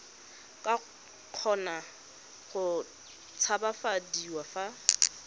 ka kgona go tshabafadiwa fa